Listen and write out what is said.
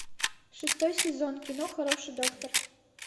шестой сезон кино хороший доктор